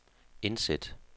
indsæt